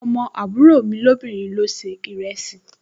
Ọmọ àbúrò mi lóbìnrin ló se ìrẹsì